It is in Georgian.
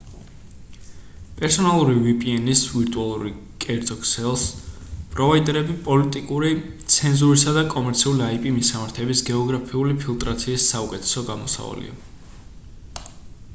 პერსონალური vpn-ის ვირტუალურ კერძო ქსელს პროვაიდერებ პოლიტიკური ცენზურისა და კომერციული ip მისამართების გეოგრაფიული ფილტრაციის საუკეთესო გამოსავალია